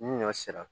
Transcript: Ni ɲɔ sera